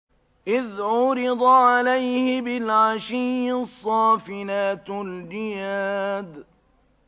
إِذْ عُرِضَ عَلَيْهِ بِالْعَشِيِّ الصَّافِنَاتُ الْجِيَادُ